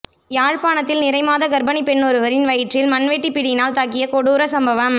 யாழ்ப்பாணத்தில் நிறைமாத கர்ப்பிணி பெண்ணொருவரின் வயிற்றில் மண்வெட்டிப் பிடியினால் தாக்கிய கொடூர சம்பவம்